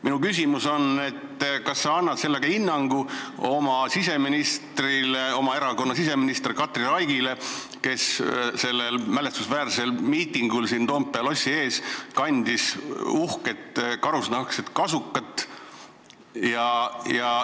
Minu küsimus on, kas sa annad sellega hinnangu oma erakonna siseministrile Katri Raigile, kes sellel mälestusväärsel miitingul Toompea lossi ees kandis uhkelt karusnahkset kasukat.